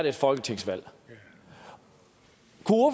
et folketingsvalg